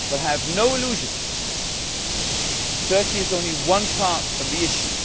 But have no illusions Turkey is only one part of the issue.